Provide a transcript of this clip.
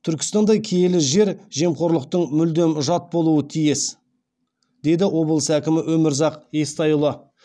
түркістандай киелі жер жемқорлықтың мүлдем жат болуы тиіс деді облыс әкімі өмірзақ естайұлы